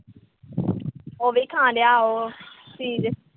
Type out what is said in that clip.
ਉਹੀ ਦਿਖਾਉਣ ਡਿਆ ਉਹ, ਚੀਜ਼।